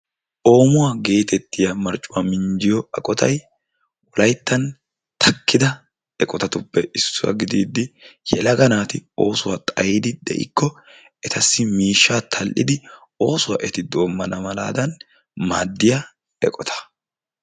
Oomuwua geetettiya marccuwa minjjiyo aqotayi wolayttan takkida eqotatuppe issuwa gidiiddi yelaga naati oosuwa xayidi de"ikko etassi miishshaa tall"idi oosuwa eti doomman malaadan maaddiya eqota.